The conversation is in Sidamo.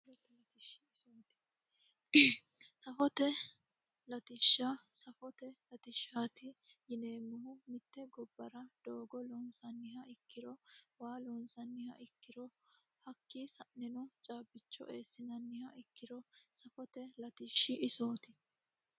Safote latishsha safote latishshaati yineemmohu mitte gobbara doogo loonsanniha ikkiro waa loonsanniha ikkiro hakkii saeno caabbicho eessinanniha ikkiro safote latishshi isooti